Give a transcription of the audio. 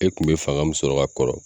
E kun be fanga min sɔrɔ ka kɔrɔ